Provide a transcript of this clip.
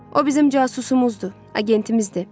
O bizim casusumuzdur, agentimizdir.